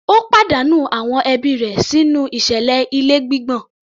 Ó pàdánù àwọn ẹbí rẹ̀ sínú ìṣẹ̀lẹ̀ ilé gbígbọ̀n